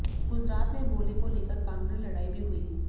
गुजरात में बोली को लेकर कानूनी लड़ाई भी हुई